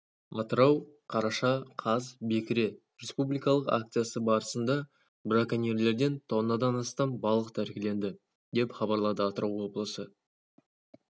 атырау қараша қаз бекіре республикалық акциясы барысында браконьерлерден тоннадан астам балық тәркіленді деп хабарлады атырау облысы